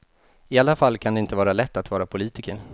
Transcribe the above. I alla fall kan det inte vara lätt att vara politiker.